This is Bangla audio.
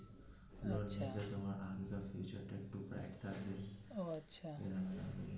ওর সাথে তোমার আগেরকার future টা একটু bright থাকবে .